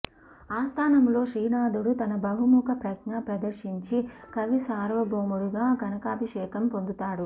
ఆస్థానములో శ్రీనాథుడు తన బహుముఖ ప్రజ్ఞ ప్రదర్శించి కవిసార్వభౌముడుగా కనకాభిషేకము పొందుతాడు